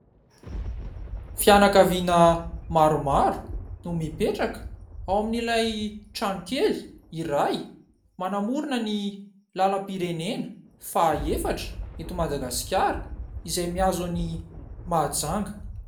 Fianakaviana maromaro no mipetraka ao amin'ilay tranokely iray manamorona ny lalam-pirenena fa efatra eto Madagasikara izay mihazo an'i Mahajanga.